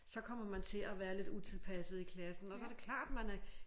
Så kommer man til at være lidt utilpasset i klassen og så det klart man er